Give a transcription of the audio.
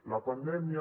la pandèmia